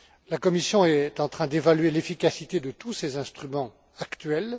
La Commission est en train d'évaluer l'efficacité de tous ces instruments actuels.